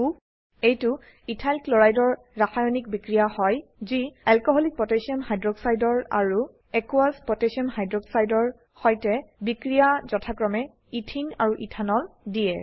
এইটো ethyl chloride ethyl chloride এৰ ৰাসায়নিক বিক্ৰিয়া হয় যি alcoholic potassium hydroxide alcoholic potassium hydroxide ৰ আৰু একোয়াচ পটেচিয়াম হাইড্ৰসাইড জলীয় পটাসিয়াম হাইক্সাইড এৰ সৈতে বিক্ৰিয়ায় যথাক্ৰমে ইথিন আৰু ইথানল দিয়ে